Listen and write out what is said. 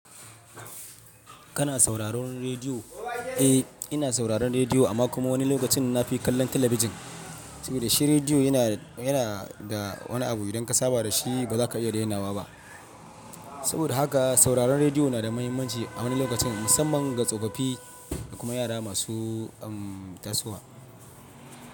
Kana sauraron rediyo? Eh, ina sauraron rediyo amma kuma wani lokacin na fi kallon talabijin. Saboda shi rediyo yana, yana da wani abu idan ka saba da shi ba za ka iya dainawa ba. Saboda haka sauraron rediyo na da muhimmanci a wani lokacin musamman ga tsofaffi da kuma yara masu, umm, tasowa.